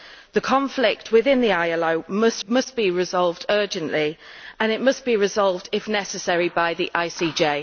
The conflict within the ILO must be resolved urgently and it must be resolved, if necessary, by the ICJ.